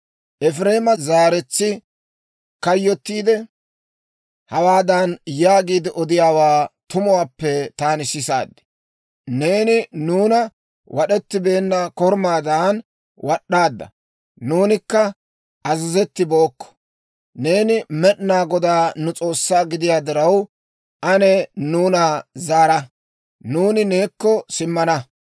«Efireema zaaretsi kayyottiide, hawaadan yaagiide odiyaawaa tumuwaappe taani sisaad; ‹Neeni nuuna wad'ettibeenna korumaadan wad'd'aadda; nuunikka azazetibookko. Neeni Med'inaa Godaa nu S'oossaa gidiyaa diraw, ane nuuna zaara; nuuni neekko simmana.